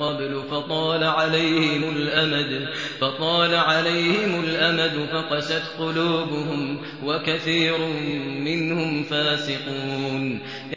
قَبْلُ فَطَالَ عَلَيْهِمُ الْأَمَدُ فَقَسَتْ قُلُوبُهُمْ ۖ وَكَثِيرٌ مِّنْهُمْ فَاسِقُونَ